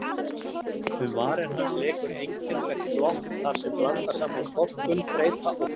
Um varir hans leikur einkennilegt glott þarsem blandast saman storkun, þreyta og fró.